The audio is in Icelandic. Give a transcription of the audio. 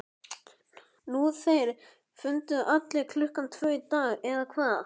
Nú þeir funduðu aftur klukkan tvö í dag, eða hvað?